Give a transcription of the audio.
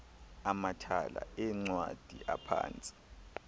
amathala eencwadi aphantsi